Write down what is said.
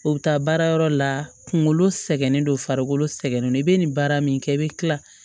O bɛ taa baara yɔrɔ la kungolo sɛgɛnnen don farikolo sɛgɛnnen don i bɛ nin baara min kɛ i bɛ kila